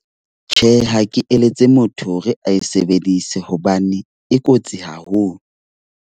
Tjhe, ha ke eletsa motho hore a e sebedise hobane e kotsi haholo.